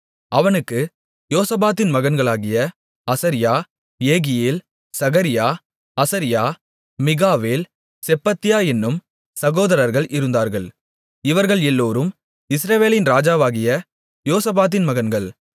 அவனுக்கு யோசபாத்தின் மகன்களாகிய அசரியா ஏகியேல் சகரியா அசரியா மிகாவேல் செப்பத்தியா என்னும் சகோதரர்கள் இருந்தார்கள் இவர்கள் எல்லோரும் இஸ்ரவேலின் ராஜாவாகிய யோசபாத்தின் மகன்கள்